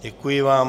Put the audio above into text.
Děkuji vám.